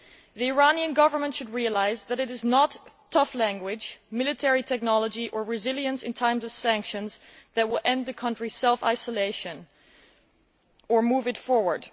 The Iranian Government should realise that tough language, military technology or resilience in times of sanctions will not end the country's self isolation or move it forward.